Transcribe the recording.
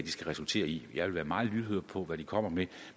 skal resultere i jeg vil være meget lydhør for hvad de kommer med